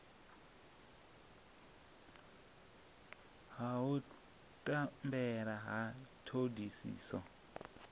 ha u tambela ha thodisiso